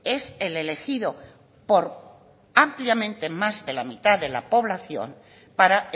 es el elegido por ampliamente más de la mitad de la población para